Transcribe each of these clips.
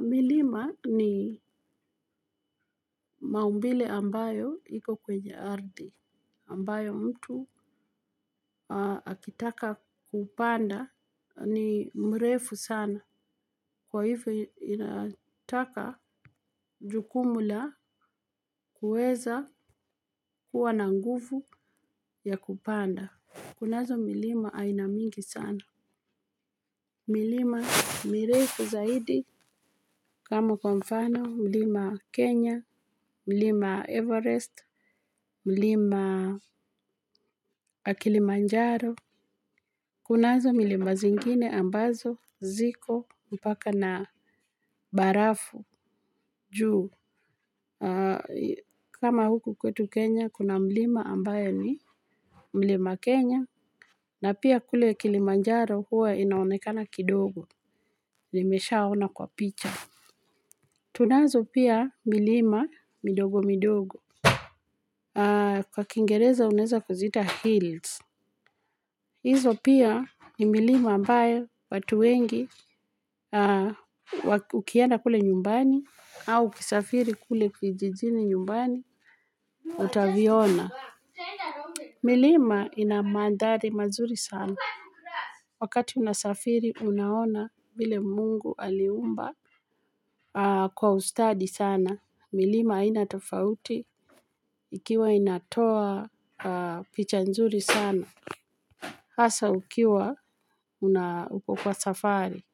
Milima ni maumbile ambayo iko kwenye ardhi ambayo mtu akitaka kupanda ni mrefu sana, kwa hivyo inataka jukumu la kuweza kuwa na nguvu ya kupanda. Kunazo milima aina mingi sana. Milima mrefu zaidi. Kama kwa mfano mlima Kenya, mlima Everest, mlima Kilimanjaro. Kunazo milima zingine ambazo ziko mpaka na barafu juu. Kama huku kwetu Kenya kuna mlima ambayo ni mlima Kenya. Na pia kule Kilimanjaro huwa inaonekana kidogo. Nimesha ona kwa picha. Tunazo pia milima midogo midogo. Kwa kingereza unaweza kuziita hills. Izo pia ni milima mbayo watu wengi ukienda kule nyumbani au ukisafiri kule kijijini nyumbani utaviona. Milima ina mandhari mazuri sana. Wakati unasafiri unaona ile mungu aliumba kwa ustadi sana. Milima haina tofauti ikiwa inatoa picha nzuri sana. Hasa ukiwa una uko kwa safari.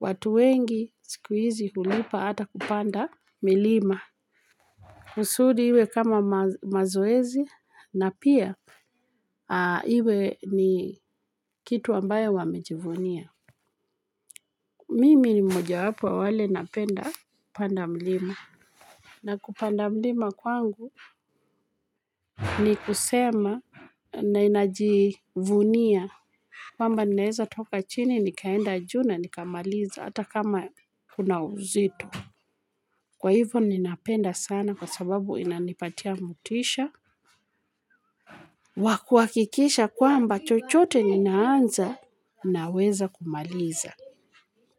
Watu wengi sikuhizi hulipa hata kupanda milima. Kusudi iwe kama mazoezi na pia iwe ni kitu ambayo wamejivunia. Mimi ni mmoja wapo wa wale napenda kupanda mlima. Na kupanda milima kwangu ni kusema na inajivunia. Kwamba ninaweza toka chini nikaenda juu na nika maliza hata kama kuna uzito. Kwa hivyo ninapenda sana kwa sababu inanipatia motisha. Wa kuhakikisha kwamba chochote ninaanza naweza kumaliza.